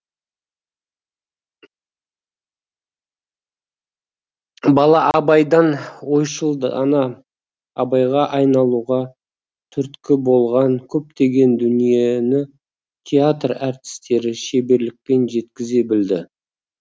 бала абайдан ойшыл дана абайға айналуға түрткі болған көптеген дүниені театр әртістері шеберлікпен жеткізе білді